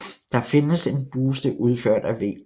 Der findes en buste udført af V